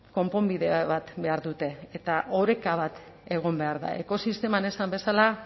konponbide bat behar dute eta oreka bat egon behar da ekosisteman esan bezala